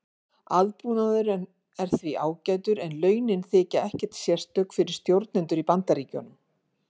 aðbúnaðurinn er því ágætur en launin þykja ekkert sérstök fyrir stjórnendur í bandaríkjunum